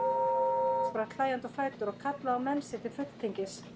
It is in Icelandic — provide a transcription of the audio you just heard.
Daði spratt hlæjandi á fætur og kallaði á menn sér til fulltingis.